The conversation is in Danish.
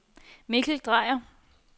Mikkel Drejer